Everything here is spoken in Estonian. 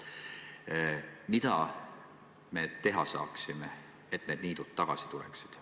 Mida me teha saaksime, et niidud jälle tagasi saada?